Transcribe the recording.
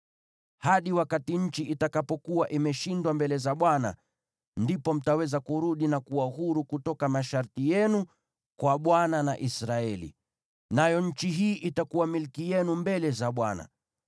hadi wakati nchi itakapokuwa imeshindwa mbele za Bwana , ndipo mtaweza kurudi na kuwa huru kutoka masharti yenu kwa Bwana na Israeli. Nayo nchi hii itakuwa milki yenu mbele za Bwana .